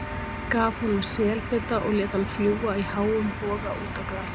Gaf honum selbita og lét hann fljúga í háum boga út á grasið.